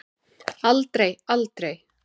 Aldrei, aldrei!